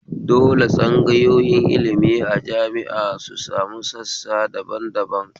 Dole tsangayoyin ilmi a jami'a su sami sassa daban daban